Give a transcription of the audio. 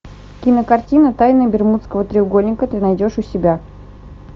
кинокартина тайны бермудского треугольника ты найдешь у себя